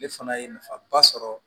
Ale fana ye nafaba sɔrɔ